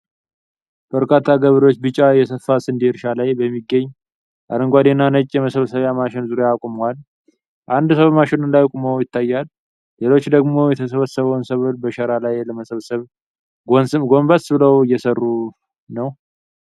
በርካታ ገበሬዎች ቢጫ የሰፋ ስንዴ እርሻ ላይ በሚገኝ አረንጓዴና ነጭ የመሰብሰቢያ ማሽን ዙሪያ ቆመዋል። አንድ ሰው በማሽኑ ላይ ቆሞ ይታያል፤ ሌሎች ደግሞ የተሰበሰበውን ሰብል በሸራ ላይ ለመሰብሰብ ጎንበስ ብለው እየሠሩ ነው።